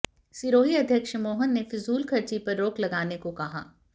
सिरोही अध्यक्ष मोहन ने फिजूल खर्ची पर रोक लगाने को कहा